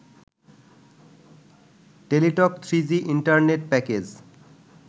Teletalk three G internet package